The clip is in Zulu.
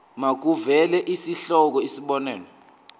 makuvele isihloko isib